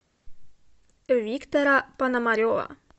виктора пономарева